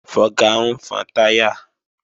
Fọga ń fọn táyà